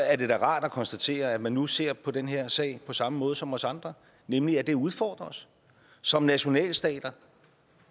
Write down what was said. er det da rart at konstatere at man nu ser på den her sag på samme måde som os andre nemlig at det udfordrer os som nationalstat